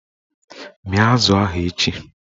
Mịa azụ ahụ echi!